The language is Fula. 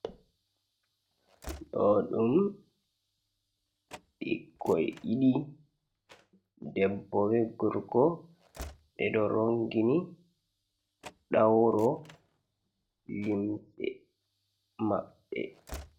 Doɗum bikkoy ɗiɗi debbo be gorko. Ɓeɗo rongini ɗawro limse maɓɓe.